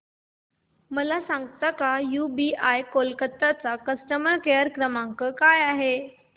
मला सांगता का यूबीआय कोलकता चा कस्टमर केयर नंबर काय आहे